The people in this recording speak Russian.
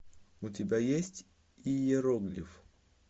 у тебя есть иероглиф